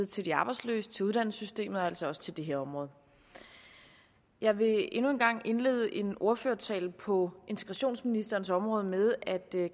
til de arbejdsløse til uddannelsessystemet og altså også til det her område jeg vil endnu en gang indlede en ordførertale på integrationsministerens område med at